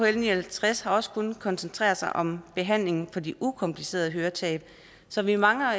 l ni og halvtreds har også kun koncentreret sig om behandlingen for de ukomplicerede høretab så vi mangler